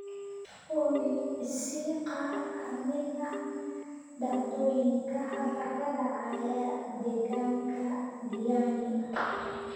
olly i sii qaar ka mid ah dhacdooyinka hadda ka dhacaya deegaanka diani